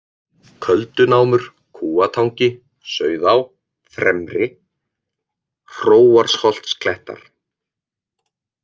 Köldunámur, Kúatangi, Sauðá fremri, Hróarsholtsklettar